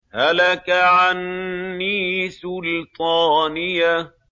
هَلَكَ عَنِّي سُلْطَانِيَهْ